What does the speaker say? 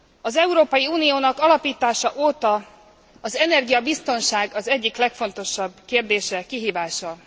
Az Európai Uniónak alapítása óta az energiabiztonság az egyik legfontosabb kérdése, kihívása.